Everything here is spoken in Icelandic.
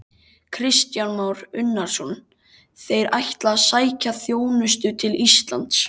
Kristján Már Unnarsson: Þeir ætla að sækja þjónustu til Íslands?